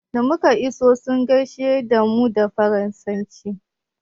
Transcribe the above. Da muka iso sun gaishe da mu da faransanci.